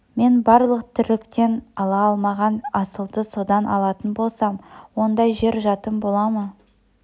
мен барлық тірліктен ала алмаған асылды содан алатын болсам ондай жер жатым бола ма